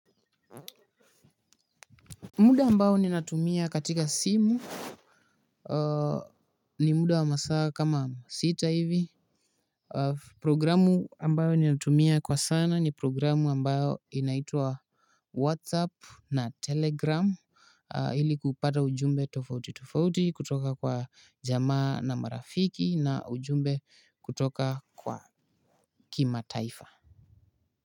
Muda ambao ninatumia katika simu. Ni muda wa masaa kama sita hivi. Programu ambayo ninatumia kwa sana ni programu ambayo inaitwa Whatsapp na telegram ili kupata ujumbe tofauti tofauti kutoka kwa jamaa na marafiki na ujumbe kutoka kwa kimataifa.